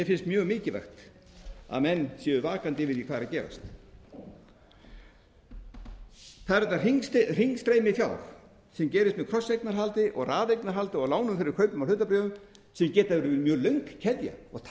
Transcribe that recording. finnst mjög mikilvægt að menn séu vakandi yfir því hvað er að gerast það er þetta hringstreymi fjár sem gerist með krosseignarhaldi raðeignarhaldi og lánum fyrir kaupum á hlutabréfum sem geta verið mjög löng keðja og það er